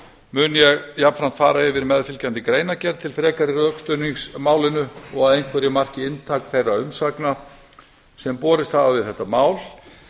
mun ég jafnframt fara yfir fyrirliggjandi greinargerð til frekari rökstuðnings málinu og að nokkru marki inntak þeirra umsagna sem borist hafa um þetta mál